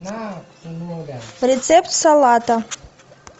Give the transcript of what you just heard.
рецепт салата